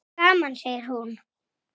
Svona haltu áfram, maður!